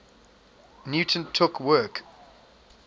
newton took work